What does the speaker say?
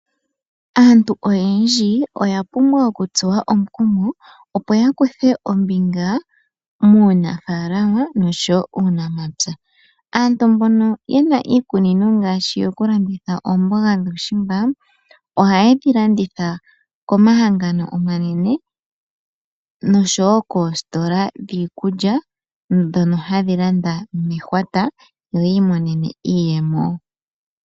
Aantu oyendji oyapumbwa okutsuwa omukumo opo yakuthe ombinga muunafaalama osho wo muunamapya. Aantu mbono yena iikunino ngaashi yokulanditha oomboga dhuushimba ohaye dhi landitha komahangano omanene nosho wo koositola dhiikulya, ndhono hadhi landa mehwata yiimonene iiyemo.